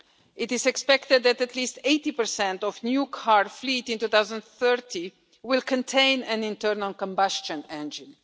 It is expected that at least 80 of new car fleets in 2030 will contain an internal combustion engine.